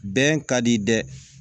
Bɛn ka di dɛ